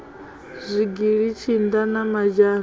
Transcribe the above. zwigili tshinda na mazhana o